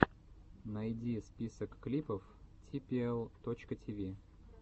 найди список клипов типиэл точка тиви